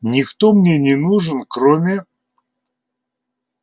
никто мне не нужен кроме